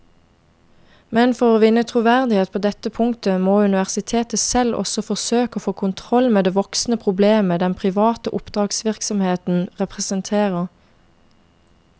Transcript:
Men for å vinne troverdighet på dette punktet må universitetet selv også forsøke å få kontroll med det voksende problemet den private oppdragsvirksomheten representerer.